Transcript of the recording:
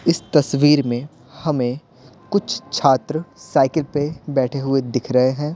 इस तस्वीर में हमें कुछ छात्र साइकिल पे बैठे हुए दिख रहे हैं।